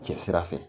Cɛ sira fɛ